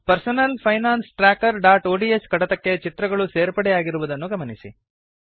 personal finance trackerಒಡಿಎಸ್ ಕಡತಕ್ಕೆ ಚಿತ್ರಗಳು ಸೇರ್ಪಡೆಯಾಗಿರುವುದನ್ನು ಗಮನಿಸಿ